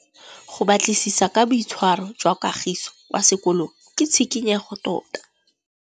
Go batlisisa ka boitshwaro jwa Kagiso kwa sekolong ke tshikinyêgô tota.